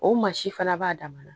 O mansin fana b'a damana